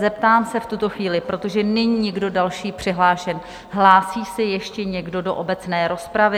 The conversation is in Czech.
Zeptám se v tuto chvíli, protože není nikdo další přihlášen, hlásí se ještě někdo do obecné rozpravy?